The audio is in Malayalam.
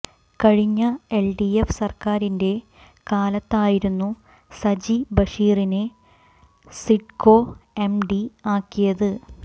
കഴിഞ്ഞ എൽ ഡിഎഫ് സര്ക്കാരിന്റെ കാലത്തായിരുന്നു സജി ബഷീറിനെ സിഡ്കോ എം ഡി ആക്കിയത്